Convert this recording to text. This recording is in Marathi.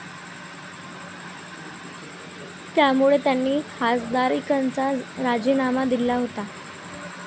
त्यामुळे त्यांनी खासदारकीचा राजीनामा दिला होता.